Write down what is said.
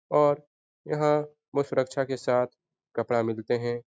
और यहाँ बहुत सुरक्षा के साथ कपड़ा मिलते हैं।